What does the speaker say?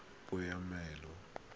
peomolao